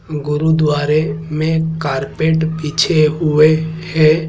गुरुद्वारे में कारपेट बीछे हुए हैं।